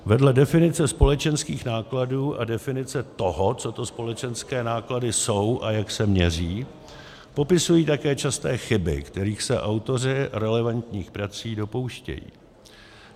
Vedle definice společenských nákladů a definice toho, co to společenské náklady jsou a jak se měří, popisují také časté chyby, kterých se autoři relevantních prací dopouštějí.